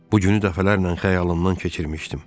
Bu günü dəfələrlə xəyalımdan keçirmişdim.